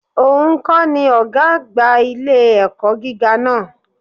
Ò nkọ́ ni Ògá àgbà ilé-ẹ̀kọ́ gíga náà